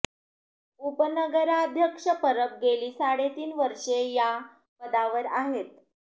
उपनगराध्यक्ष परब गेली साडे तीन वर्षे या पदावर आहेत